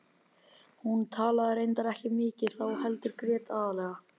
Hún talaði reyndar ekki mikið þá heldur grét aðallega.